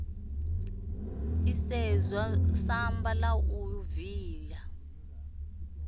isedzwa samba la u viya